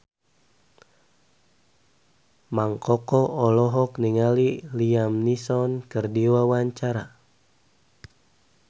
Mang Koko olohok ningali Liam Neeson keur diwawancara